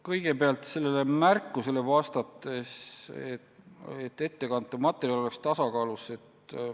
Kõigepealt vastan sellele märkusele, et ettekantav materjal peaks olema tasakaalus.